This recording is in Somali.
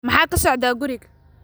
Maxaa ka socda guriga?